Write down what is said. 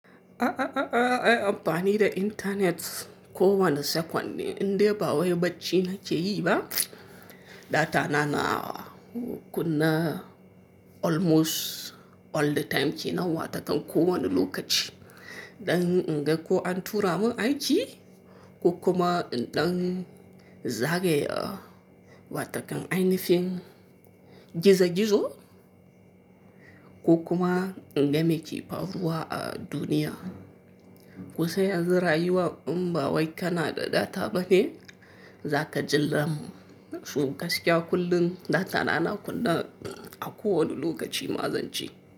A'a, a'a, a'a, ai amfani da intanet ko wani second ne, indai ba wai barci nake yi ba, data na na kunne almost all the time kenan, watakan ko wani lokaci. Dan in ga ko an tura mun aiki ko kuma in ɗan zagaye, a, watakan ainihin gizo-gizo ko kuma in ga me ke faruwa a duniya. Kun san yanzu rayuwa in ba wai kana da data bane, za ka ji lam. Toh gaskiya kullum data na na kunne a ko wani lokaci ma zan ce.